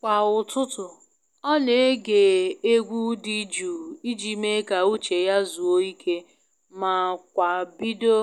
Kwa ụtụtụ, ọ na ege egwu dị jụụ i ji mee ka uche ya zuo ike ma kwa bido